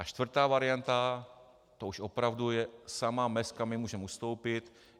A čtvrtá varianta, to už opravdu je sama mez, kam my můžeme ustoupit.